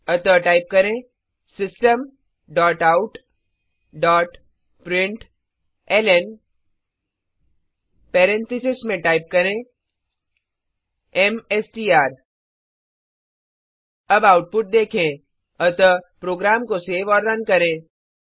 अतः टाइप करें system dot out dot println parenthesis में टाइप करें एमएसटीआर अब आउटपुट देखें अतः प्रोग्राम को सेव और रन करें